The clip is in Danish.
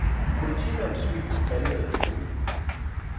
Politimandens smil falmede en smule.